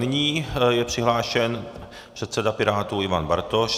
Nyní je přihlášen předseda Pirátů Ivan Bartoš.